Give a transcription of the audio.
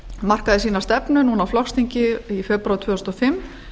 markaði sína stefnu núna á flokksþingi í febrúar tvö þúsund og fimm